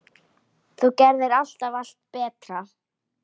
Þú gerðir alltaf allt betra.